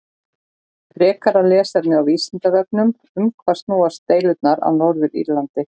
Frekara lesefni á Vísindavefnum: Um hvað snúast deilurnar á Norður-Írlandi?